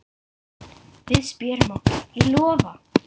Við spjörum okkur, ég lofa.